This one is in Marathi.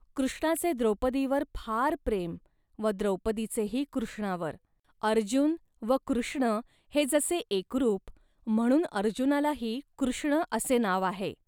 कृष्णाचे द्रौपदीवर फार प्रेम व द्रौपदीचेही कृष्णावर. अर्जुन व कृष्ण हे जसे एकरूप, म्हणून अर्जुनालाही कृष्ण असे नाव आहे